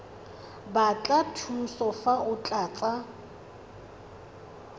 batla thuso fa o tlatsa